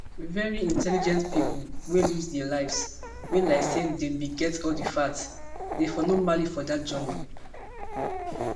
very intelligent pipo wey lose dia lives wey like say dem bin get all di facts dem for no male dat journey